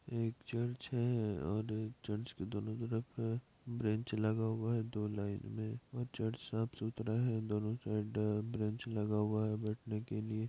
एक चर्च हैं और चर्च के दोनों तरफ ब्रेंच लगा हुआ हैं दो लाइन में और चर्च साफ सुथरा हैं दोनों साइड ब्रेंच लगा हुआ हैं बेठने के लिए।